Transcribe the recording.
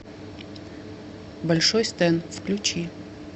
большой стэн включи